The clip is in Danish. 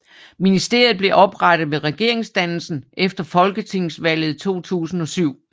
Ministeriet blev oprettet ved regeringsdannelsen efter folketingsvalget 2007